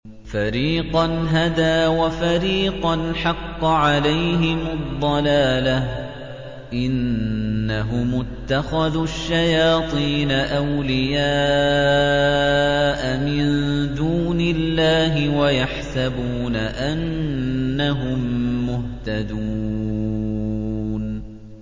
فَرِيقًا هَدَىٰ وَفَرِيقًا حَقَّ عَلَيْهِمُ الضَّلَالَةُ ۗ إِنَّهُمُ اتَّخَذُوا الشَّيَاطِينَ أَوْلِيَاءَ مِن دُونِ اللَّهِ وَيَحْسَبُونَ أَنَّهُم مُّهْتَدُونَ